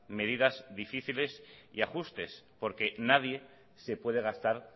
medidas difíciles y ajustes porque nadie se puede gastar